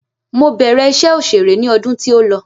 Mo bẹ̀rẹ̀ iṣẹ́ òṣèré ni ọdún tí o lọ